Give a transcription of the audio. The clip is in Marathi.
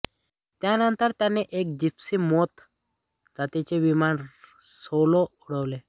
त्यानंतर त्यांनी एक जिप्सी मोथ जातीचे विमान सोलो उडवले